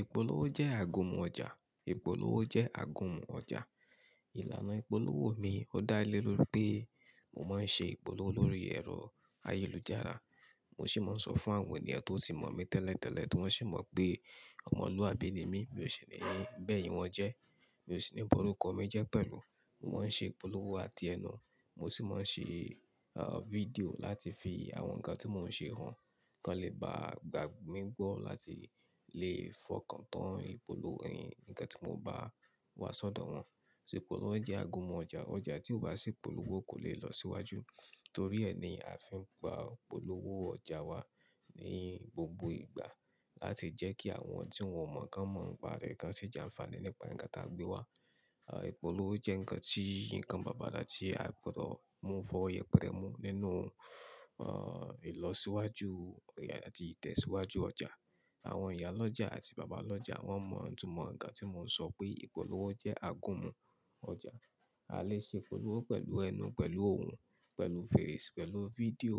Ìpolówó jẹ́ àgúnmu ọjà, ìpolówó jẹ́ àgúnmu ọjà. Ìlànà ìpolówó mi ó dá lé lórí pé mo máa ń ṣe ìpolówó lórí ẹ̀rọ ayélujára, mo sì máa ń sọ fún àwọn ènìyàn tó tì mọ̀ mí tẹ́lẹ̀ tẹ́lẹ̀ tí wọ́n sì mọ̀ pé ọmọlúwàbí ni mí, mi ò sì ní ba èyìn wọn jẹ́, mi ò sì ní borúkọ mi jẹ́ pẹ̀lú. Mo máa ń ṣe ìpolówó àti ẹnu, mo sì máa ń ṣe fídíò láti fi àwọn nǹkan tí mò ń ṣe hàn kí wọ́n lè bá gbà mí gbọ́ láti lè fọkàn tán ìpolówo-- nǹkan tí mo bá wà sọ́dọ̀ wọn. Ìpolówó jẹ́ àgúnmu ọjà. Ọjà tí ò bá sí ìpolówó kò lè lọ síwájú torí ẹni a fi ń gba ìpolówó ọjà wa ní gbogbo ìgbà láti jẹ́ kí àwọn tí wọn ò mọ̀ kan mọ̀ pa rẹ̀ kan sì jẹ́ ànfàní nípa ǹkan tí a gbé wá. Ìpolówó jẹ́ ǹkan tí nǹkan bàbára tí a o gbọdọ̀ mú-- f'ọwo yẹpẹ̀re mú nínú ìlọsíwájú àti ìtẹ̀síwájú ọjà. Àwọn ìyálọ́jà àti bàbá lọ́jà wọ́n mọ̀ itúmọ̀ ǹkan tí mò ń sọ pé ìpolówó jẹ́ àgúnmu ọjà. A lè ṣe ìpolówó pẹ̀lú ẹnu, pẹ̀lú òun, pẹ̀lú fèrèsé-- pẹ̀lú fídíò